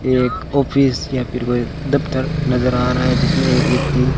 एक ऑफिस या फिर कोई दफ्तर नजर आ रहा है जिसमें एक व्यक्ति--